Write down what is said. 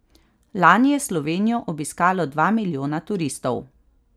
Lani je Slovenijo obiskalo dva milijona turistov.